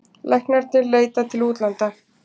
Læknarnir leita til útlanda